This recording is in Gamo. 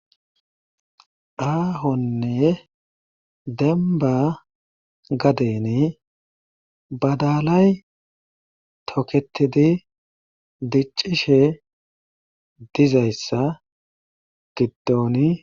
Aahonne dembba gadeni badalay tokettidi diccishe dizayssa giddoni.